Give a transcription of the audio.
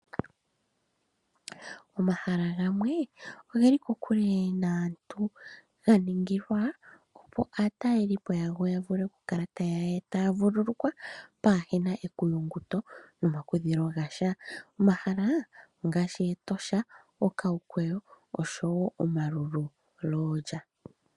Omahala gamwe oge li kokule naantu, ga ningila opo aatalelipo yago ya vule okukala taya vululukwa pwaa he na ekuyunguto nomakudhilo ga sha. Omahala ngaashi Etosha,